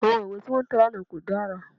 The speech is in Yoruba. Àwọn ìwé tí wọ́n tẹ̀ lánàá kò dára